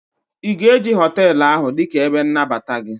ị ga-eji họtelu ahụ dị ka ebe nnabata gị?